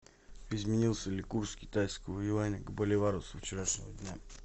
изменился ли курс китайского юаня к боливару со вчерашнего дня